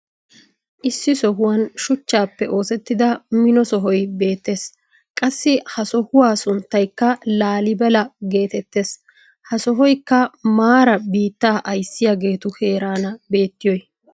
issi sohuwan shuchchaappe oosettida mino sohoy beetees. qassi ha sohuwa sunttaykka laalibella geetettees. ha sohoykka maaaraa biittaa ayssiyaageetu heeraana beettiyoy.